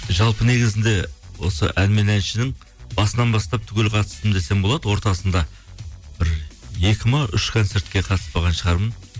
жалпы негізінде осы ән мен әншінің басынан бастап түгел қатыстым десем болады ортасында бір екі ме үш концертке қатыспаған шығармын